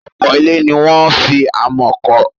Ọ̀pọ̀ ilé ni wọ́n fi amọ̀ kọ́.